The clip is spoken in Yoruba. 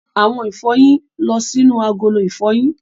Àwọn ìfọyín lọ sínú agolo ìfọyín.